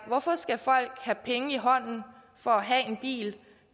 hvorfor skal folk have penge i hånden for at have en bil